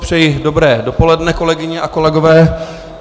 Přeji dobré dopoledne, kolegyně a kolegové.